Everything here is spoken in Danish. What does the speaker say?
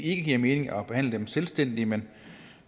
ikke giver mening at behandle dem selvstændigt men